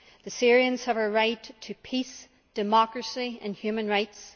The Syrians have a right to peace, democracy and human rights.